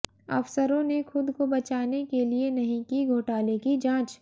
अफसरों ने खुद को बचाने के लिए नहीं की घोटाले की जांच